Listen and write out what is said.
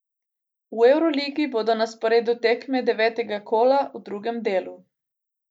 V evroligi bodo na sporedu tekme devetega kola v drugem delu.